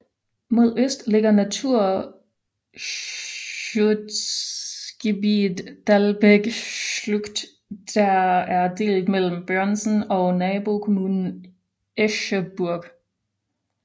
Mod øst ligger Naturschutzgebiet Dalbekschlucht der er delt mellem Börnsen og nabokommunen Escheburg